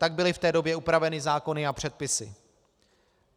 Tak byly v té době upraveny zákony a předpisy.